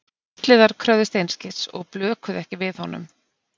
Svartliðar kröfðust einskis og blökuðu ekki við honum.